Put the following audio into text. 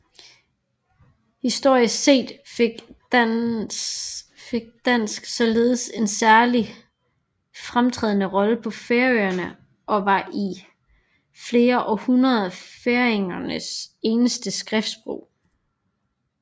Historisk set fik dansk således en særdeles fremtrædende rolle på Færøerne og var i flere århundreder færingernes eneste skriftsprog